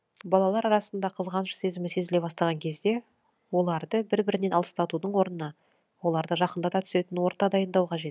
балалар арасында қызғаныш сезімі сезіле бастаған кезде оларды бір бірінен алыстатудың орнына оларды жақындата түсетін орта дайындау қажет